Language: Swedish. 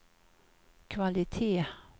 kvalitet